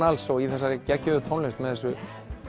alls og í þessari geggjuðu tónlist með þessu